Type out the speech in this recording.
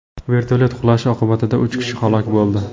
Vertolyot qulashi oqibatida uch kishi halok bo‘ldi.